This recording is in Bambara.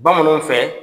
Bamananw fɛ